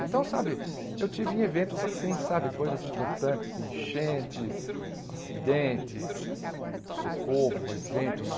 Então, sabe, eu tive em eventos assim, sabe, coisas importantes, enchentes, acidentes, socorro, eventos,